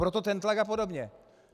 Proto ten tlak a podobně.